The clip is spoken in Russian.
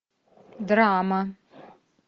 драма